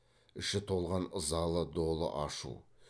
іші толған ызалы долы ашу